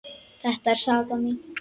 Þetta er saga mín.